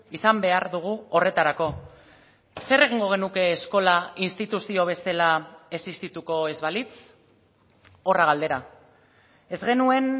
izan behar dugu horretarako zer egingo genuke eskola instituzio bezala existituko ez balitz horra galdera ez genuen